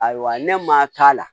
Ayiwa ne ma k'a la